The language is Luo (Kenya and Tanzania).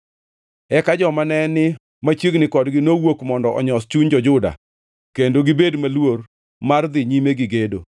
Eka joma ni machiegni kodgi nowuok mondo onyos chuny jo-Juda kendo gibed maluor mar dhi nyime gi gedo.